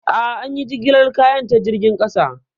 A'a, an yi jigilar kayan ta jirgin ƙasa.